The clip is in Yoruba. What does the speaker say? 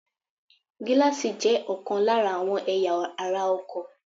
Gíláàsì jé òkan lára àwọn ẹ̀yà ara ọkò